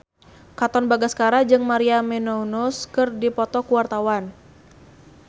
Katon Bagaskara jeung Maria Menounos keur dipoto ku wartawan